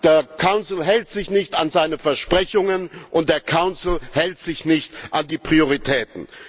Der Rat hält sich nicht an seine Versprechungen, und der Rat hält sich nicht an die Prioritäten!